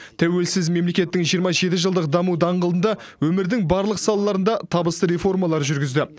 тәуелсіз мемлекеттің жиырма жеті жылдық даму даңғылында өмірдің барлық салаларында табысты реформалар жүргізді